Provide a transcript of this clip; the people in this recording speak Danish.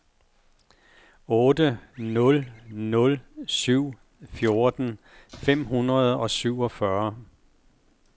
otte nul nul syv fjorten fem hundrede og syvogfyrre